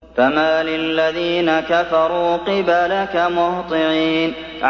فَمَالِ الَّذِينَ كَفَرُوا قِبَلَكَ مُهْطِعِينَ